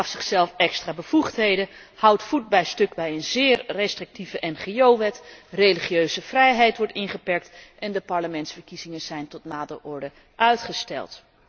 Hij gaf zichzelf extra bevoegdheden, houdt voet bij stuk bij een zeer restrictieve ngo wet, religieuze vrijheid wordt ingeperkt en de parlementsverkiezingen zijn tot nader order uitgesteld.